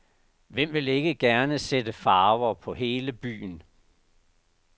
Hvem vil ikke gerne sætte farver på hele byen.